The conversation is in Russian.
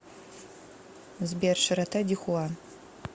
сбер широта дихуа